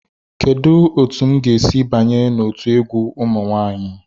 Kedu otu m ga-esi banye n'otu egwu ụmụ nwanyị?